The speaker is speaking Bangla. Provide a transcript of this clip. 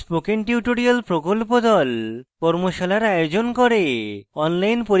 spoken tutorial প্রকল্প the কর্মশালার আয়োজন করে